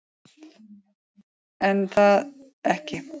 En það er